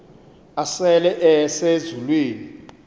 asele ese zulwini